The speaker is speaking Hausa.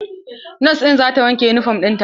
Nos ɗin za ta wanke yunifom ɗin ta.